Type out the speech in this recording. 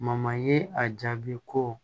ye a jaabi ko